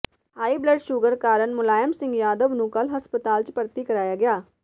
high blood sugar ਕਾਰਨ ਮੁਲਾਇਮ ਸਿੰਘ ਯਾਦਵ ਨੂੰ ਕੱਲ੍ਹ ਹਸਪਤਾਲ ਚ ਭਰਤੀ ਕਰਾਇਆ ਗਿਆ